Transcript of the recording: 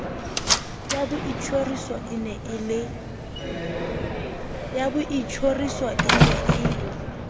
ya boitjhoriso e ne e